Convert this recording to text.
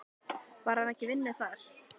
Var hann ekki í vinnu þar?